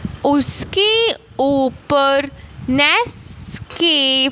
उसके ऊपर नेस्स के--